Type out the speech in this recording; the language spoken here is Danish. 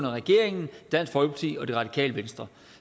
regeringen dansk folkeparti og det radikale venstre